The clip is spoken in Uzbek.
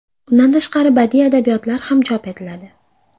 Undan tashqari badiiy adabiyotlar ham chop etiladi.